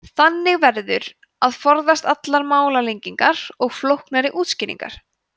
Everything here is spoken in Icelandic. þannig verður að forðast allar málalengingar og flóknari útskýringar